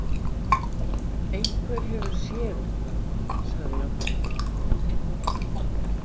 Einhver hefur séð eitthvað, sagði Jóhanna.